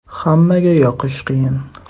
Hammaga yoqish qiyin.